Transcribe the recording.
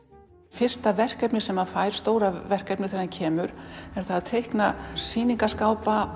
fyrsta verkefnið sem hann fær stóra verkefnið þegar hann kemur er að teikna